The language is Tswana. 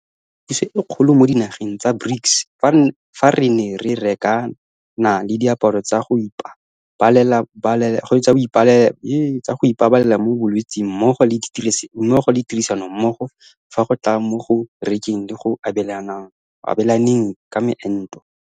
Re bone gape le thuso e kgolo mo dinageng tsa BRICS fa re ne re rekana le diaparo tsa go ipa balela mo bolwetseng mmogo le tirisanommogo fa go tla mo go rekeng le go abelaneng ka moento.